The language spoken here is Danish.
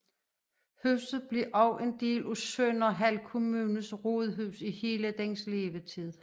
Huset blev også en del af Sønderhald Kommunes rådhus i hele dens levetid